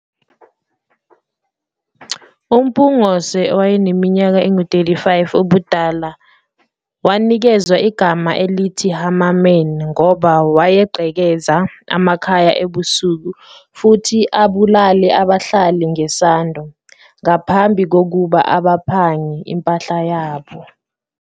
UMpungose owaneminyaka engu-35 ubudala wanikezwa igama elithi 'Hammerman' ngoba wayegqekeza amakhaya ebusuku futhi abulale abahlali ngesando ngaphambi kokuba abaphange impahla yabo.